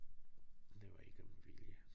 Det var ikke med vilje